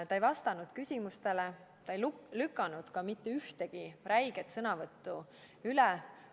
Ta ei vastanud küsimustele, ta ei lükanud ka mitte ühtegi oma räiget sõnavõttu ümber.